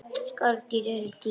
Skordýr eru dýr.